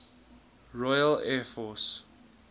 royal air force